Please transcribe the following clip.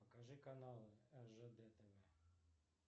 покажи канал ржд тв